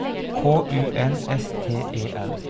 K U N S T E N